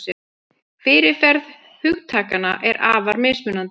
Fyrirferð hugtakanna er afar mismunandi.